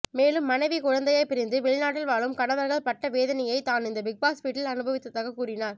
மேலும் மனைவி குழந்தையை பிரிந்து வெளிநாட்டில் வாழும் கணவர்கள் பட்ட வேதனையை தான் இந்த பிக்பாஸ் வீட்டில் அனுபவித்ததாக கூறினார்